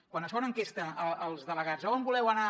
quan es fa una enquesta als delegats on voleu anar